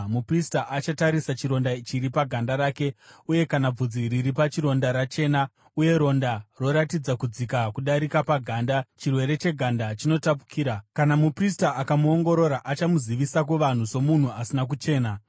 Muprista achatarisa chironda chiri paganda rake, uye kana bvudzi riri pachironda rachena uye ronda roratidza kudzika kudarika paganda, chirwere cheganda chinotapukira. Kana muprista akamuongorora achamuzivisa kuvanhu somunhu asina kuchena.